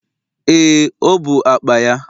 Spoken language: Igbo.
Ee, o bụ akpa ya